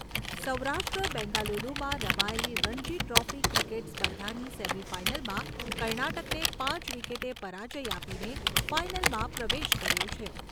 સૌરાષ્ટ્ર, બેંગાલુરુમાં રમાયેલી Ranji trophy cricket સ્પર્ધાની સેમી ફાઇનલમાં કર્ણાટકને પાંચ વિકેટે પરાજ્ય આપીને, ફાઇનલમાં પ્રવેશ કર્યો છે.